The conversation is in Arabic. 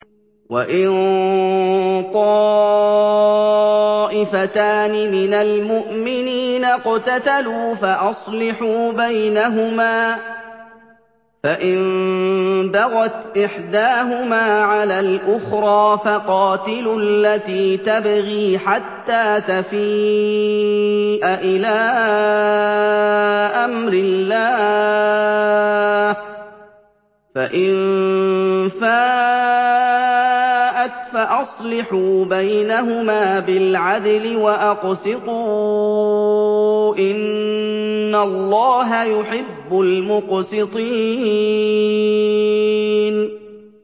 وَإِن طَائِفَتَانِ مِنَ الْمُؤْمِنِينَ اقْتَتَلُوا فَأَصْلِحُوا بَيْنَهُمَا ۖ فَإِن بَغَتْ إِحْدَاهُمَا عَلَى الْأُخْرَىٰ فَقَاتِلُوا الَّتِي تَبْغِي حَتَّىٰ تَفِيءَ إِلَىٰ أَمْرِ اللَّهِ ۚ فَإِن فَاءَتْ فَأَصْلِحُوا بَيْنَهُمَا بِالْعَدْلِ وَأَقْسِطُوا ۖ إِنَّ اللَّهَ يُحِبُّ الْمُقْسِطِينَ